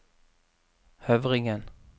Høvringen